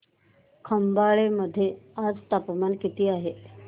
खंबाळे मध्ये आज तापमान किती आहे